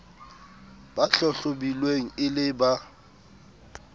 ba hlahlobilweng e le ba